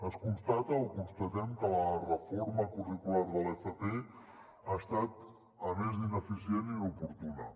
es constata o constatem que la reforma curricular de l’fp ha estat a més d’ineficient inoportuna